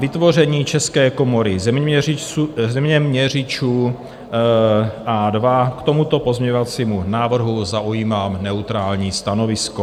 Vytvoření české komory zeměměřičů A2 - k tomuto pozměňovacímu návrhu zaujímám neutrální stanovisko.